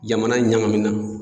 Jamana ɲagamina